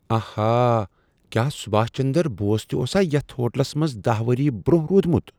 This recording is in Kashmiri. آہا! کیا سباش چندر بوس تہ اوسا ییٚتھۍ ہوٹلس منز دہہ ؤری برٛۄنٛہہ رُودمت؟